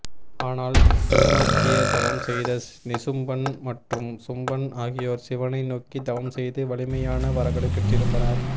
ஆனால் சிவநோக்கிய தவம் செய்த நிசும்பன் மற்றும் சும்பன் ஆகியோர் சிவனை நோக்கி தவம் செய்து வலிமையான வரங்களை பெற்றிருந்தனர்